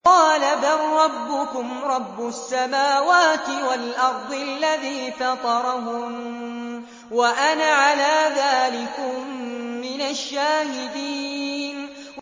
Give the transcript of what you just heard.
قَالَ بَل رَّبُّكُمْ رَبُّ السَّمَاوَاتِ وَالْأَرْضِ الَّذِي فَطَرَهُنَّ وَأَنَا عَلَىٰ ذَٰلِكُم مِّنَ الشَّاهِدِينَ